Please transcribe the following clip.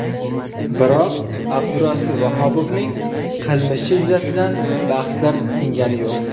Biroq Abdurasul Vahobovning qilmishi yuzasidan bahslar tingani yo‘q.